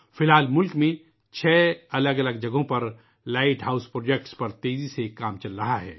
اس وقت ملک میں 6 مختلف مقامات پر لائٹ ہاؤس پروجیکٹس پر تیز رفتاری سے کام جاری ہے